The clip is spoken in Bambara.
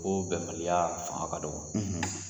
O bɛnbaliya fanga ka dɔgɔ.